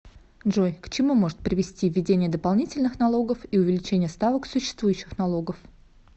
джой к чему может привести введение дополнительных налогов и увеличение ставок существующих налогов